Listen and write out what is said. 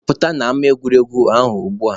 Pụta n'ama egwuregwu ahụ ugbua!